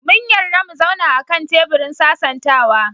Mun yarda mu zauna a kan teburin sasantawa.